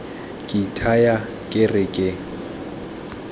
ke ithaya ke re ke